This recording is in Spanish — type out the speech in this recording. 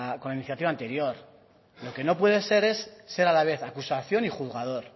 la iniciativa anterior lo que no puede ser es ser a la vez acusación y juzgador